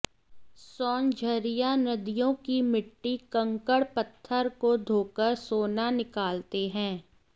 सोनझरिया नदियों की मिट्टी कंकड़ पत्थर को धोकर सोना निकालते हैं